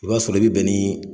I b'a sɔrɔ i be bɛn nii